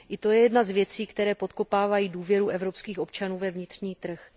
I to je jedna z věcí, které podkopávají důvěru evropských občanů ve vnitřní trh.